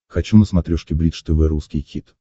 хочу на смотрешке бридж тв русский хит